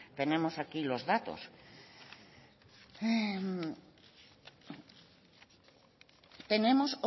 tenemos aquí los datos tenemos